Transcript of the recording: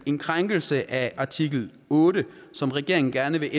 en krænkelse af artikel otte som regeringen gerne vil